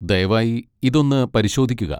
ദയവായി ഇത് ഒന്ന് പരിശോധിക്കുക.